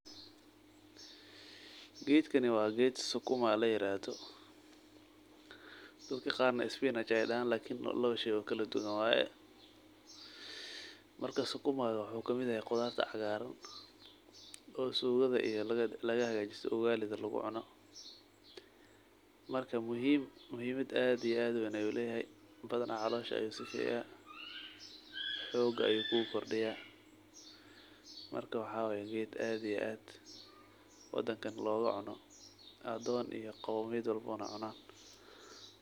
Geedkani waa geed sukuma laairadho dadka qaar na spinach aay dahaan lakini waa lawasheeyo oo kaladuwan waaye marka sukuma wuxuu kamid yaah qudharta caqaran oo sugudha iyo ugali dha lagahajisto oo lagucuno. Marka muhimad aad iyo aad uweyn uu layhay badhana caloosha uu safiya xoog ayu ku kordiya marka waxawaye geed aad iyo aad wadankan laugocuno adoon iyo qoymiyad walba cunan.